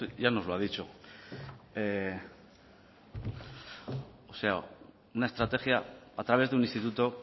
ya nos lo ha dicho o sea una estrategia a través de un instituto